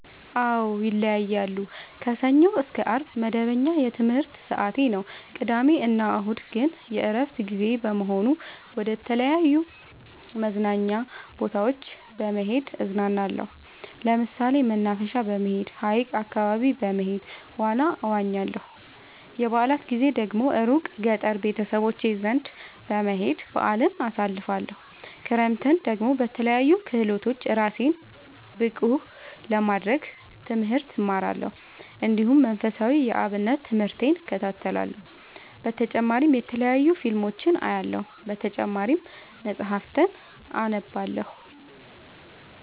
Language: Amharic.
አዎ ይለያያለሉ። ከሰኞ እስከ አርብ መደበኛ የትምህርት ሰዓቴ ነው። ቅዳሜ እና እሁድ ግን የእረፍት ጊዜ በመሆኑ መደተለያዩ መዝናኛ ቦታዎች በመሄድ እዝናናለሁ። ለምሳሌ መናፈሻ በመሄድ። ሀይቅ አካባቢ በመሄድ ዋና እዋኛለሁ። የበአላት ጊዜ ደግሞ እሩቅ ገጠር ቤተሰቦቼ ዘንዳ በመሄድ በአልን አሳልፍለሁ። ክረምትን ደግሞ በለያዩ ክህሎቶች እራሴን ብቀሐ ለማድረግ ትምህርት እማራለሁ። እንዲሁ መንፈሳዊ የአብነት ትምህርቴን እከታተላለሁ። በተጨማሪ የተለያዩ ፊልሞችን አያለሁ። በተጨማሪም መፀሀፍትን አነባለሁ።